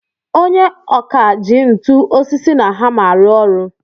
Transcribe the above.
Onye ọkà ji ntu, osisi na hammer arụ ọrụ.